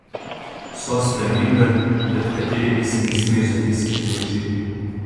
So spremembe, pred katerimi si ne smeš zatiskati oči.